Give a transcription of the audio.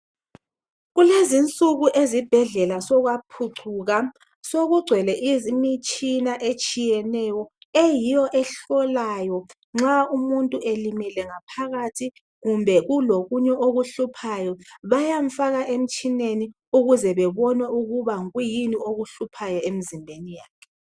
Kulezinsuku ezibhedlela sokwaphucuka, sokugcwele imitshina etshiyeneyo eyiyo ehlolayo nxa umuntu elimele ngaphakathi kumbe ulokunye okuhluphayo, bayamfaka emtshineni ukuze bebone ukuba yikwiyini okuhluphayo emzimbeni wakhe.